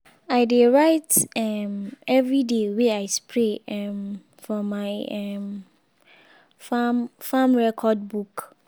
i dey write um every day wey i spray um for my um farm farm record book.